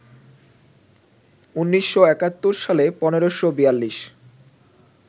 ১৯৭১ সালে ১৫৪২